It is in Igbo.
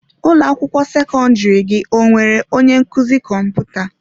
Ụlọ akwụkwọ sekọndrị gị ọ nwere onye nkuzi kọmputa?